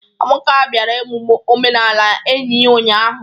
Amaka bịara emume omenala enyi ya ụnyahụ.